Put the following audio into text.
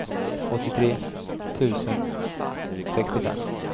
åttiotre tusen sextiofem